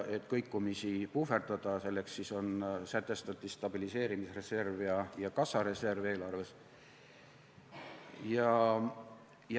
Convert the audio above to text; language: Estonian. Et kõikumisi puhverdada, selleks sätestati eelarves stabiliseerimisreserv ja kassareserv.